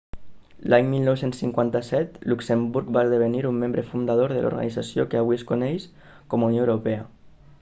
l'any 1957 luxemburg va esdevenir membre fundador de l'organització que avui es coneix com a unió europea